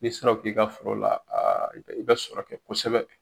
N'i sera k'o k'i ka foro la i bɛ sɔrɔ kɛ kosɛbɛ.